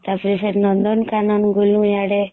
ତାପରେ Sir ନନ୍ଦନ କାନନ ଗଲୁ ଇଆଡେ